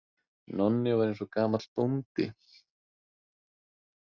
Nonni var eins og gamall bóndi.